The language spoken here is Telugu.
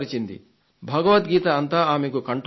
భగవద్గీత అంతా ఆమెకు కంఠోపాఠం